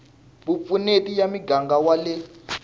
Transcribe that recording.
vupfuneti ya muganga wa le